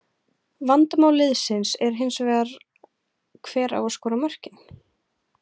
Vandamál liðsins er hins vegar hver á að skora mörkin?